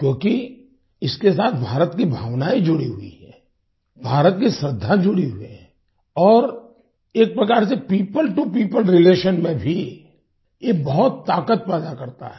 क्योंकि इसके साथ भारत की भावनाएँ जुड़ी हुई हैं भारत की श्रद्धा जुड़ी हुई है और एक प्रकार से पियोपल टो पियोपल रिलेशन में भी ये बहुत ताकत पैदा करता है